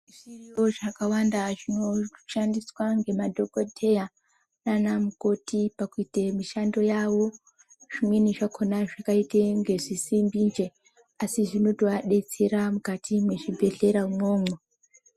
Zviriyo zvakawanda zvinoshandiswa ngemadhokodheya nana mukoti pakuite mishando yavo zvimweni zvakhona zvakaita inge zvisimbi nj asi zvinozovadetsera muzvibhehlera imwomwo.